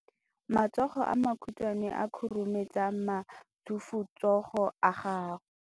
matsogo a makhutshwane a khurumetsa masufutsogo a gago